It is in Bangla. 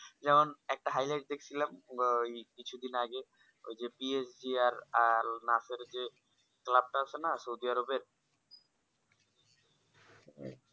যেমন একটা highlight দেখছিলাম কিছুদিন আগে ওই যে PSDR আর nursery যে club টা আছে না সৌদি আরবের